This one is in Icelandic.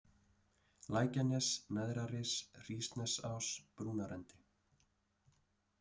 Lækjanes, Neðraris, Hrísnesás, Brúnarendi